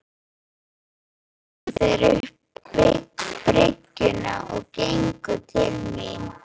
Nú komu þeir upp bryggjuna og gengu til mín.